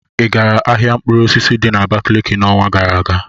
ị gara ahịa mkpụrụ osisi di na Abakaliki n'ọnwa gara aga?